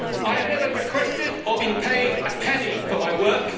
I have never requested or been paid a penny for my work